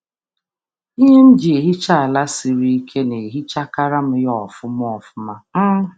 um Ngwa m na-eji na-emecha ụlọ ala osisi siri ike na-asacha nke ọma na-enweghị ịhapụ ihe fọdụrụ.